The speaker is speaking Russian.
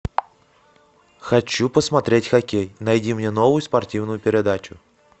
хочу посмотреть хоккей найди мне новую спортивную передачу